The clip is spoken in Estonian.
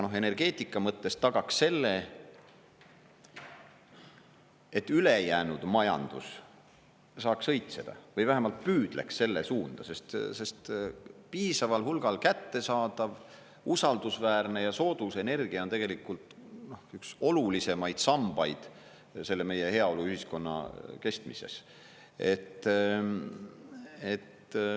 Energeetika aga tagaks selle, et ülejäänud majandus saaks õitseda, või vähemalt püüdleks selle suunda, sest piisaval hulgal kättesaadav, usaldusväärne ja soodus energia on tegelikult üks olulisemaid sambaid meie heaoluühiskonna kestmises.